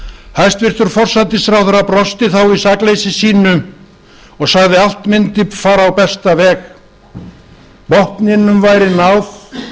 hæstvirtur forsætisráðherra brosti þá í sakleysi sínu og sagði að allt mundi fara á besta veg botninum væri náð